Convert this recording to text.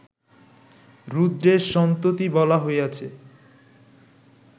রুদ্রের সন্ততি বলা হইয়াছে